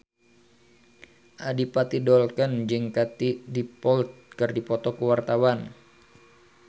Adipati Dolken jeung Katie Dippold keur dipoto ku wartawan